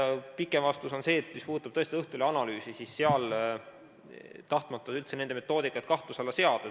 Pikem vastus on see, et mis puudutab Õhtulehe analüüsi, siis ma ei taha üldse nende metoodikat kahtluse alla seada.